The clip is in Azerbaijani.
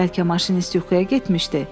Bəlkə maşinist yuxuya getmişdi?